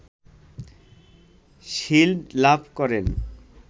shield লাভ করেন